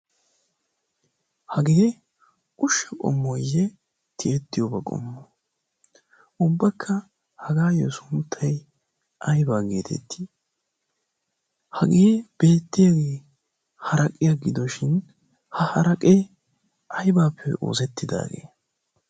ha gide ushsha phommoyye tiyettiyoobaa qommu ubbakka hagaayyo sunttay aybaa geetetti? hagie beettiyaaii haraqiya gidoshin ha haraqee aibaappe oosettidaagee?